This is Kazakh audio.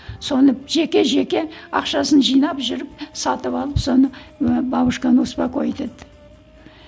соны жеке жеке ақшасын жинап жүріп сатып алып соны ы бабушканы успокоить етті